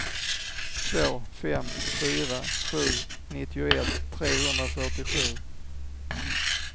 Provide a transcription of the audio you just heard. två fem fyra sju nittioett trehundrafyrtiosju